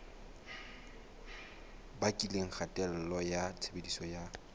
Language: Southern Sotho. bakileng kgatello ya tshebediso ya